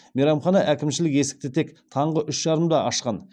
мейрамхана әкімшілігі есікті тек таңғы үш жарымда ашқан